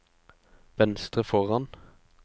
venstre foran